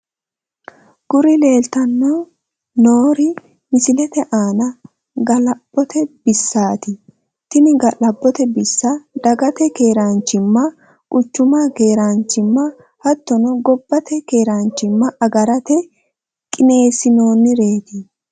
Kuri leellitanno noori misilete aana ga'labbote bissaati tini ga'labbote bissa dagate keeraanchimma , quchumu keeraanchimma hattono gobbate keeraanchimma agarate qineessinoonnireeti.